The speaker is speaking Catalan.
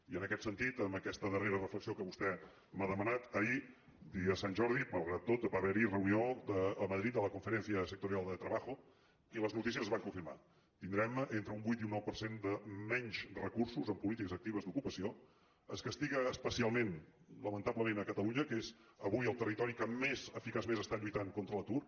i en aquest sentit amb aquesta darrera reflexió que vostè m’ha demanat ahir dia de sant jordi malgrat tot va haver hi reunió a madrid de la conferencia sectorial de trabajo i les notícies es van confirmar tindrem entre un vuit i un nou per cent de menys recursos en polítiques actives d’ocupació es castiga especialment lamentablement catalunya que és avui el territori que més eficaçment està lluitant contra l’atur